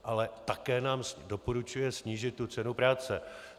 Ale také nám doporučuje snížit tu cenu práce.